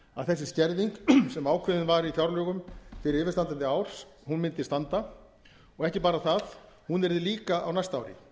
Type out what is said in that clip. að þessi skerðing sem ákveðin var í fjárlögum fyrir yfirstandandi ár mundi standa og ekki bara það hún yrði líka á næsta ári